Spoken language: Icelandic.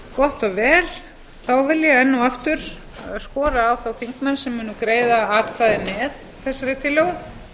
gott og vel þá vil ég enn og aftur skora á þá þingmenn sem munu greiða atkvæði með þessari tillögu að